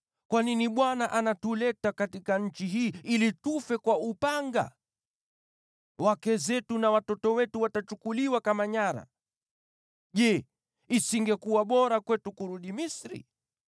Kwa nini Bwana anatuleta katika nchi hii ili tufe kwa upanga? Wake zetu na watoto wetu watachukuliwa kama nyara. Je, isingekuwa bora kwetu kurudi Misri?”